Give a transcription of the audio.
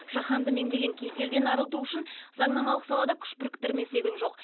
жаһанды меңдеген кеселден арылту үшін заңнамалық салада күш біріктірмесе күн жоқ